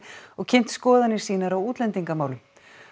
og kynnt skoðanir sínar á útlendingamálum